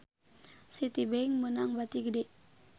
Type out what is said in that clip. Citibank meunang bati gede